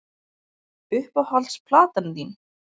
Uppáhalds platan þín?